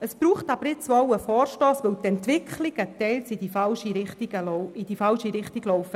Jetzt braucht es einen Vorstoss, weil die Entwicklungen teilweise in die falsche Richtung laufen.